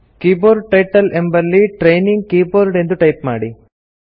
keyboard title ಎಂಬಲ್ಲಿ training keyboard ಎಂದು type ಮಾಡಿ